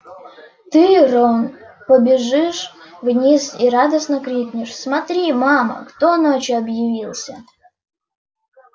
ты рон побежишь вниз и радостно крикнешь смотри мама кто ночью объявился